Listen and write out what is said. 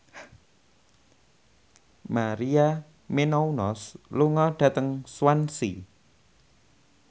Maria Menounos lunga dhateng Swansea